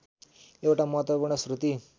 एउटा महत्त्वपूर्ण श्रुति